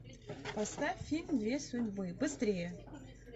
поставь фильм две судьбы быстрее